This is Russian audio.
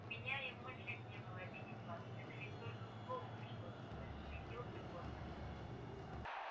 у меня и в мыслях не было обидеть вас это ведь только к слову пришлось засуетился горбин